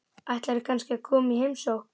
Ætlarðu kannski að koma í heimsókn?